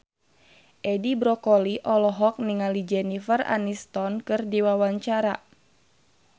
Edi Brokoli olohok ningali Jennifer Aniston keur diwawancara